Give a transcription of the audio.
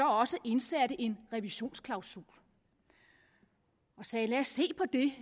også indsatte en revisionsklausul og sagde lad se på det